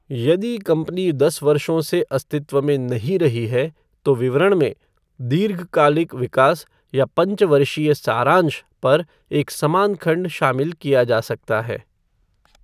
यदि कंपनी दस वर्षों से अस्तित्व में नहीं रही है, तो विवरण में "दीर्घ कालिक विकास" या "पंच वर्षीय सारांश" पर एक समान खंड शामिल किया जा सकता है।